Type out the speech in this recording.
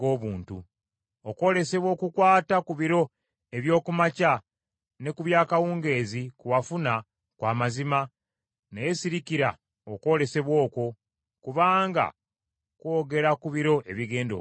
“Okwolesebwa okukwata ku biro eby’oku makya ne ku by’akawungeezi, kwe wafuna kwa mazima, naye sirikira okwolesebwa okwo, kubanga kwogera ku biro ebigenda okujja.”